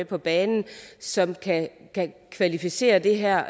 på banen som kan kvalificere det her og